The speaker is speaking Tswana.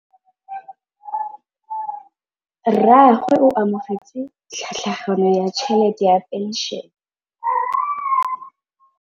Rragwe o amogetse tlhatlhaganyô ya tšhelête ya phenšene.